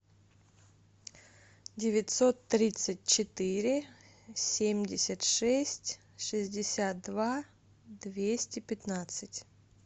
девятьсот тридцать четыре семьдесят шесть шестьдесят два двести пятнадцать